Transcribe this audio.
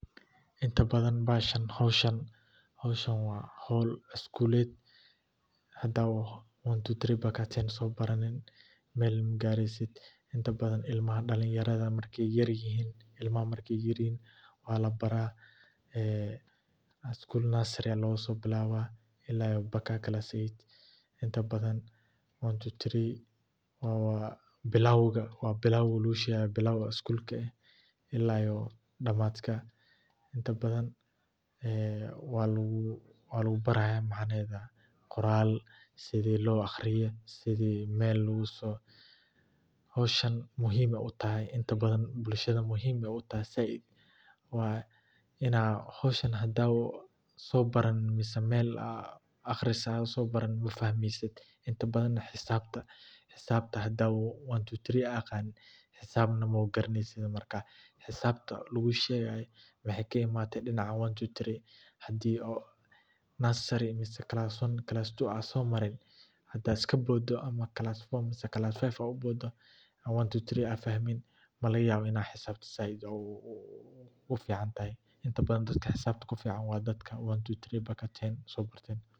Inta badan howshan waa howl iskuleed, dadka so baranin meel magaresid, ilmaha markaay yar yihiin ayaa labaraa, waa bilaabka iskuulka, waa lagu baraa qoraalka iyo sida loo aqriyo, howshan xisaabta hadaad aqanin maganeysid, waxaay ka imaate dinaca, hadaad kaboodo malaga yaabo inaad xisaabta kafuicnatid.